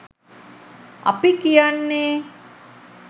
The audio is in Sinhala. අපි කියන්නෙ.